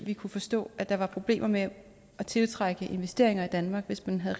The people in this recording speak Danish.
vi kunne forstå at der var problemer med at tiltrække investeringer i danmark hvis man havde